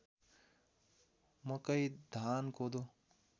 मकै धान कोदो